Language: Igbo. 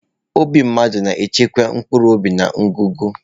Obi mmadụ na-echebe mkpụrụobi na ngụgụ.